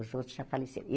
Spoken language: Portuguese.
Os outros já faleceram.